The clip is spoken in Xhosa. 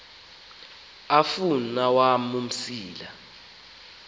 afun awam umsila